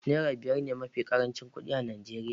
Naira biyar ne mafi karancin kuɗi a Najeriya.